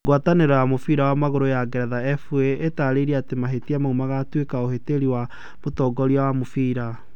Ngwatanĩro ya mũbira wa magũrũ ya Ngeretha FA, ĩtaarĩirie atĩ mahĩtia mau magatuĩka 'ũhĩtĩri wa mũtongoria wa mũbira.'